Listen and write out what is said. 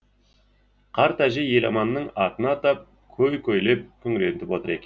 қарт әже еламанның атын атап көй көйлеп күңіреніп отыр екен